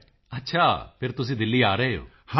ਮੋਦੀ ਜੀ ਅੱਛਾ ਫਿਰ ਤੁਸੀਂ ਦਿੱਲੀ ਆ ਰਹੇ ਹੋ